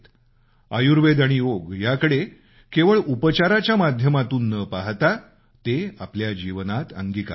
आयुर्वेद आणि योग याकडे केवळ उपचाराच्या माध्यमातून न पाहता ते आपल्या जीवनात अंगीकारावं